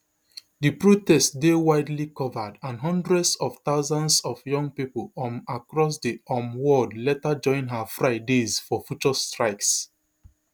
di protest dey widely covered and hundreds of thousands of young pipo um across di um world later join her fridays for future strikes